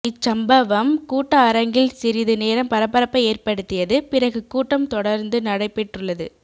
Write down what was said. இச்சம்பவம் கூட்ட அரங்கில் சிறிது நேரம் பரபரப்பை ஏற்படுத்தியது பிறகு கூட்டம் தொடர்ந்து நடைபெற்றுள்ளது